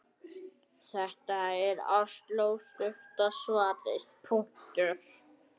Þetta er altso stutta svarið.